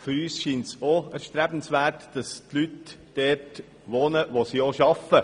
Auch uns erscheint es erstrebenswert, dass die Leute dort wohnen, wo sie auch arbeiten.